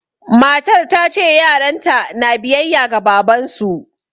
Matar ta ce yaranta na biyayya ga babansu